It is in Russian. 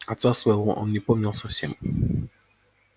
отца своего он не помнил совсем